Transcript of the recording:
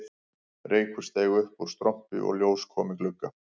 Reykur steig upp úr strompi og ljós kom í glugga